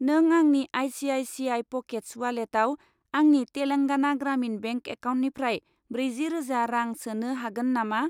नों आंनि I C I C I pockets उवालेटाव आंनि तेलांगाना ग्रामिन बेंक एकाउन्टनिफ्राय ब्रैजि रोजा रां सोनो हागोन नामा?